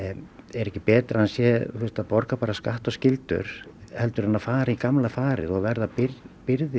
er ekki betra að hann sé að borga skatta og skyldur heldur en að fara í gamla farið og verði byrði